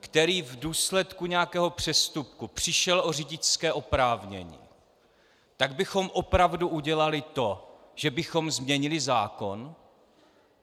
který v důsledku nějakého přestupku přišel o řidičské oprávnění, tak bychom opravdu udělali to, že bychom změnili zákon?